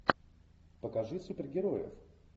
покажи супергероев